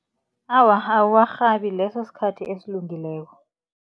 Awa, awuwarhabi leso sikhathi esilungileko.